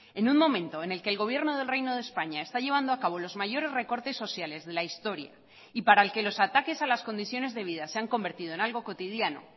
en un momento en el que el gobierno del reino de españa está llevando a cabo los mayores recortes sociales de la historia y para el que los ataques a las condiciones de vida se han convertido en algo cotidiano